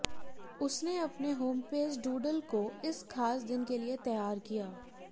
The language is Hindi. उसने अपने होमपेज डूडल को इस खास दिन के लिए तैयार किया